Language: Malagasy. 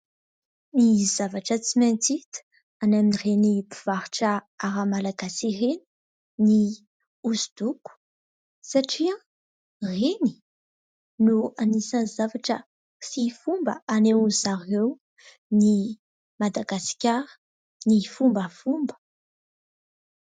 Ny zavatra tsy maintsy hita any amin'ireny mpivarotra ara malagasy ireny ny hosodoko satria ireny no anisan'ny zavatra sy fomba hanehoan'zareo ny Madagasikara ny fombafomba.